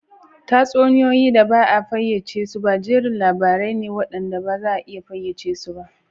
Tatsuniyoyi da ba a fayyace su ba jerin labarai ne waɗanda ba za a iya fayyace su ba